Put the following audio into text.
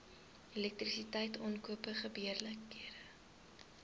elektrisiteit aankope gebeurlikhede